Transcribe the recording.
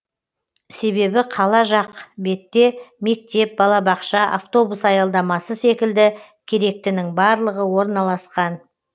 себебі қала жақ бетте мектеп балабақша автобус аялдамасы секілді керектінің барлығы орналасқан